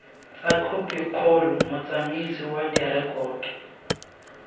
tsa khopikgolo motsamaisi wa direkoto